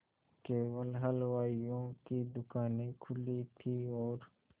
केवल हलवाइयों की दूकानें खुली थी और